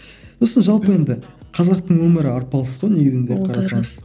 осы жалпы енді қазақтың өмірі арпалыс қой негізінде